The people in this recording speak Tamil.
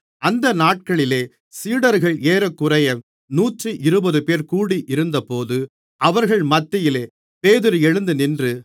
அந்த நாட்களிலே சீடர்கள் ஏறக்குறைய நூற்றிருபதுபேர் கூடியிருந்தபோது அவர்கள் மத்தியிலே பேதுரு எழுந்து நின்று